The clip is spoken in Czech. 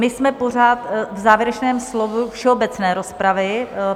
My jsme pořád v závěrečném slovu všeobecné rozpravy.